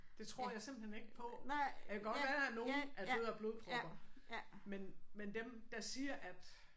Det tror jeg simpelthen ikke på. Det kan godt være at nogle er døde af blodpropper men men dem der siger at